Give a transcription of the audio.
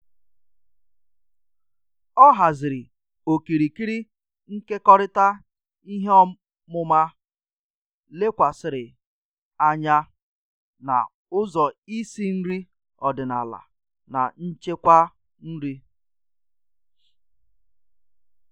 Ọ haziri okirikiri nkekọrịta ihe ọmụma lekwasịrị anya na ụzọ isi nri odịnaala na nchekwa nri